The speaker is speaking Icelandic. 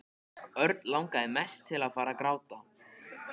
Örn langaði mest til að fara að gráta.